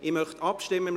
Ich möchte abstimmen.